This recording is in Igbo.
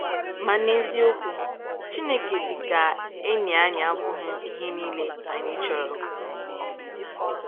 Ma n’eziokwu, Chineke dị ka enyi anyị abụghị ihe niile anyị chọrọ.